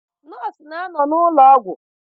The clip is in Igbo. Nọọsụ na-anọ n'ụlọ ọgwụ.